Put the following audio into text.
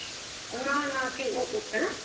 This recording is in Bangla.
না না কি~ অ উঃ, অ্যাঁ?